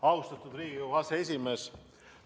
Austatud Riigikogu aseesimees!